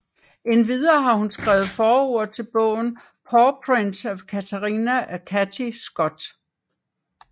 Endvidere har hun skrevet forord til bogen Pawprints of Katrina af Cathy Scott